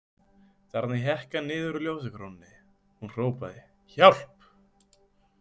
Þarna hékk hann niður úr ljósakrónunni Hún hrópaði: Hjálp!